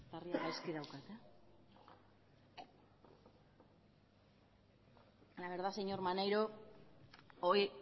la verdad señor maneiro hoy